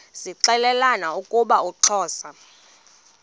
zixelelana ukuba uxhosa